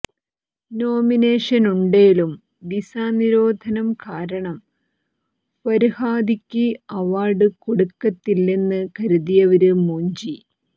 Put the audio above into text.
നോമിനേഷനൊണ്ടേലും visa നിരോധനം കാരണം ഫര്ഹാദിയ്ക്ക് അവാര്ഡ് കൊടുക്കത്തില്ലെന്ന് കരുതിയവര് മൂഞ്ചി